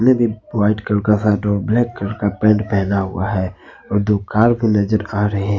White colour का shirt और black colour का पेंट पहना हुआ है और दो कार भी नजर आ रहे हैं।